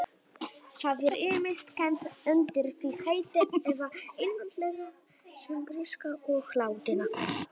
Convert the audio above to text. Það er ýmist kennt undir því heiti eða einfaldlega sem gríska og latína.